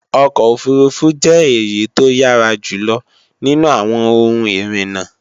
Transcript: ọkọ̀ òfurufú jẹ́ èyí tó yára jùlọ nínú àwọn ohun ìrìnà